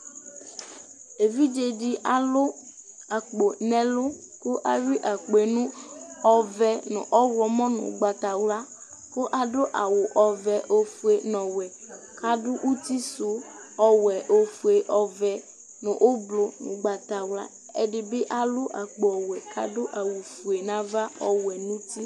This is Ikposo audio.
ɛvidzɛ di alʋ akpɔ nʋ ɛlʋ kʋ awi akpɔɛ nʋ ɔvɛ nʋ ɔwlɔmʋ nʋ ɔgbatawla kʋ adʋ awʋ ɔƒʋɛ nʋ ɔwɛ, adʋ ʋti sʋ ɔwɛ, ɔƒʋɛ, ɔvɛ nʋ ɔblʋ nʋ ɔgbatawla ɛdibi alʋ akpɔ ɔwɛ kʋ adʋ awʋ ƒʋɛ nʋ aɣa ɔwɛ nʋ ʋti